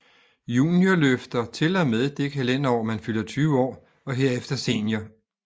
Juniorløfter til og med det kalenderår man fylder 20 år og herefter senior